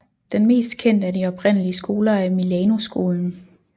Den mest kendte af de oprindelige skoler er Milanoskolen